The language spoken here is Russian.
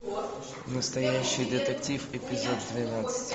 настоящий детектив эпизод двенадцать